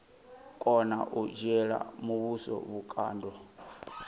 kona u dzhiela muvhuso vhukando